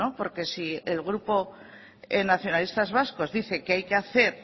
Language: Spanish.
porque si el grupo nacionalistas vascos dice que hay que hacer